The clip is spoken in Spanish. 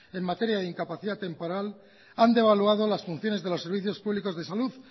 en materia de incapacidad temporal han devaluado las funciones de los servicios públicos de salud